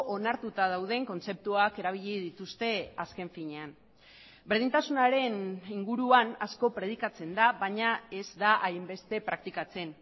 onartuta dauden kontzeptuak erabili dituzte azken finean berdintasunaren inguruan asko predikatzen da baina ez da hainbeste praktikatzen